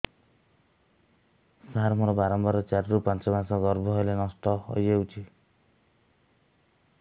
ସାର ମୋର ବାରମ୍ବାର ଚାରି ରୁ ପାଞ୍ଚ ମାସ ଗର୍ଭ ହେଲେ ନଷ୍ଟ ହଇଯାଉଛି